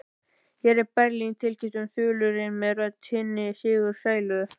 Hér er Berlín tilkynnti þulurinn með rödd hinna sigursælu.